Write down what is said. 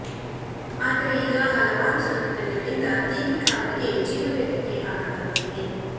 ಆದರೆ ಈಗ ಹಲವಾರು ಸಂಘಟನೆಗಳಿಂದ ದೀಪಿಕಾ ಅವರಿಗೆ ಜೀವ ಬೆದರಿಕೆ ಹಾಕಲಾಗುತ್ತಿದೆ